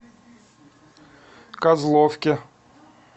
козловке